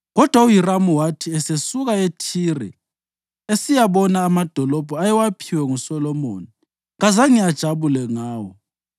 Kodwa uHiramu wathi esesuka eThire esiyabona amadolobho ayewaphiwe nguSolomoni, kazange ajabule ngawo.